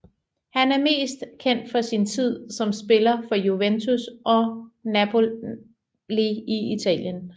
Han er mest kendt for sin tid som spiller for Juventus og Napoli i Italien